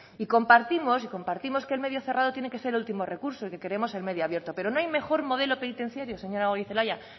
y compartimos que el medio cerrado tiene que ser el último recurso y que queremos el medio abierto pero no hay mejor modelo penitenciario señora goirizelaia